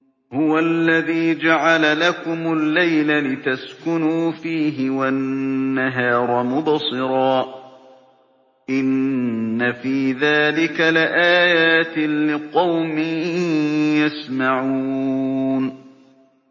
هُوَ الَّذِي جَعَلَ لَكُمُ اللَّيْلَ لِتَسْكُنُوا فِيهِ وَالنَّهَارَ مُبْصِرًا ۚ إِنَّ فِي ذَٰلِكَ لَآيَاتٍ لِّقَوْمٍ يَسْمَعُونَ